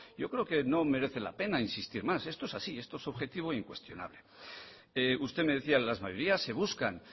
yo creo que no merece la pena insistir más esto es así esto es objetivo e incuestionable usted me decía las mayorías se buscan